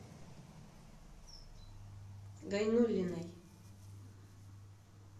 гайнуллиной